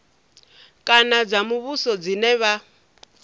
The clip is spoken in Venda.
kana dza muvhuso dzine vha